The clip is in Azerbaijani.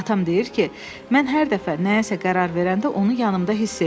Atam deyir ki, mən hər dəfə nəyəsə qərar verəndə onu yanımda hiss eləyim.